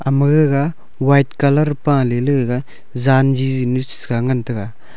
ama gaga white colour pa leley gaga jan jiji nu sa ngan taga.